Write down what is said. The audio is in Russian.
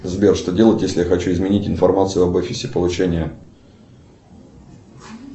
сбер что делать если я хочу изменить информацию об офисе получения